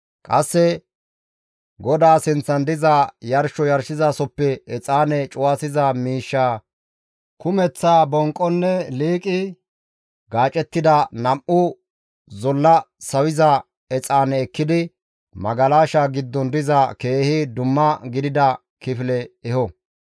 Qasse GODAA sinththan diza yarsho yarshizasoppe exaane cuwasiza miishsha kumeththa bonqonne liiqi gaacettida nam7u zolle sawiza exaane ekkidi magalasha giddon diza keehi dumma gidida kifile eho.